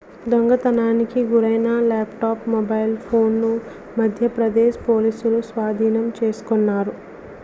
దొంగతనానికి గురైన laptop mobile phone ను మధ్యప్రదేశ్ పోలీసులు స్వాధీనం చేసుకున్నారు